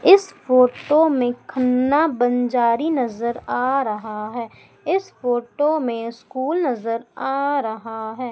इस फोटो में खन्ना बंजारी नजर आ रहा है इस फोटो में स्कूल नजर आ रहा है।